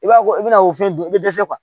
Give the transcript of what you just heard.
I b'a ko i bɛna o fɛn dun i bɛ dɛsɛ kuwa